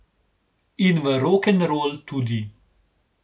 In v rokenrol tudi.